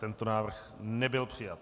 Tento návrh nebyl přijat.